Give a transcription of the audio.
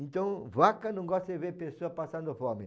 Então, vaca não gosta de ver pessoas passando fome.